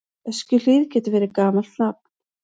Öskjuhlíð getur verið gamalt nafn.